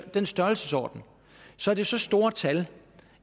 i den størrelsesorden så er det så store tal